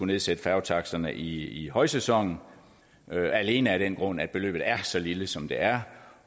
nedsætte færgetaksterne i i højsæsonen alene af den grund at beløbet er så lille som det er